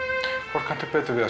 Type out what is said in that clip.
hvort kanntu betur við að